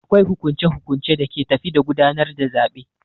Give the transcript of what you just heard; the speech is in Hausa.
Akwai hukunce hukuncen da ke tafi da gudanar da zaɓe.